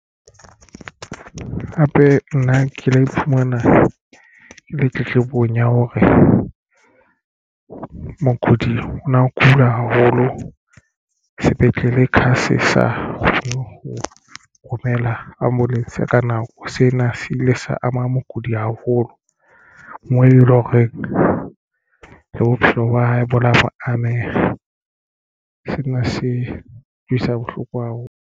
Hape nna ke la iphumana ke le tletlebong ya hore mokudi o na kula haholo sepetlele sa kgone ho ho romela ambulance ka nako sena se ile sa ama mokudi haholo moo eleng horeng le bophelo ba hae bo la ameha. Sena se utlwisa bohloko haholo.